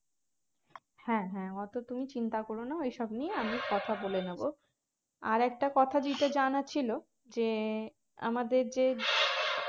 হ্যাঁ হ্যাঁ অত তুমি চিন্তা কর না ওইসব নিয়ে আমি কথা বলে নেব আর একটা কথা যেটা জানার ছিলো যে আমাদের যে